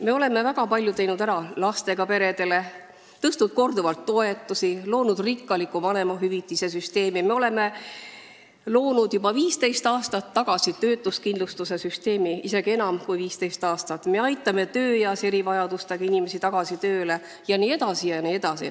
Me oleme väga palju teinud ära lastega perede heaks, oleme tõstnud korduvalt toetusi, loonud rikkaliku vanemahüvitise süsteemi, juba 15 aastat tagasi lõime töötuskindlustuse süsteemi, isegi enam kui 15 aastat tagasi, me aitame tööeas erivajadustega inimesi tagasi tööle jne.